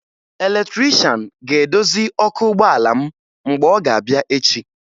Eletrịshan ga-edozi ọkụ ụgbọala m mgbe ọ ga-abịa echi